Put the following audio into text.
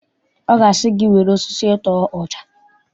Ọ ga-asị gị, were osisi tụọ ọja!